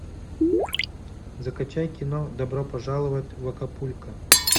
закачай кино добро пожаловать в акапулько